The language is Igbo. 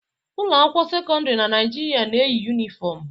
Ụlọ akwụkwọ sekọndrị na Naịjirịa na-eyi yunifom